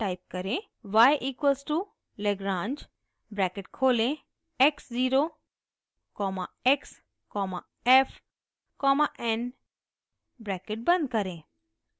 y equals to lagrange bracket खोलें x zero comma x comma f comma n bracket बंद करें